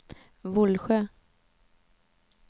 Vollsjö